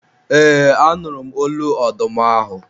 eee, a nụrụ m olu ọdụm ahụ